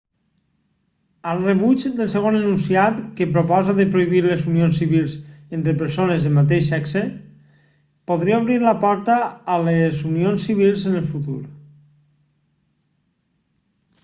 el rebuig del segon enunciat que proposa de prohibir les unions civils entre persones del mateix sexe podria obrir la porta a les unions civils en el futur